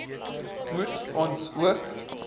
moet ons ook